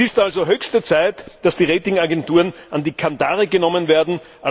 Es ist also höchste Zeit, dass die Rating Agenturen an die Kandare genommen werden.